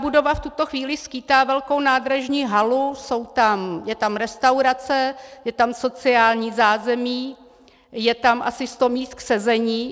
Budova v tuto chvíli skýtá velkou nádražní halu, je tam restaurace, je tam sociální zázemí, je tam asi sto míst k sezení.